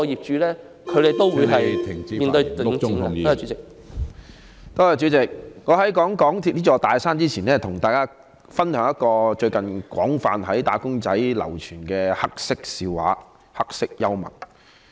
主席，在談論香港鐵路有限公司這座"大山"前，我想先跟大家分享一個最近在"打工仔"界廣泛流傳的黑色笑話、黑色幽默。